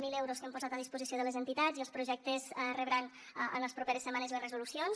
zero euros que hem posat a disposició de les entitats i els projectes rebran en les properes setmanes les resolucions